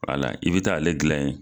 Wala i bɛ taa ale gilan ye.